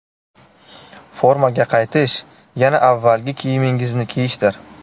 Formaga qaytish yana avvalgi kiyimingizni kiyishdir.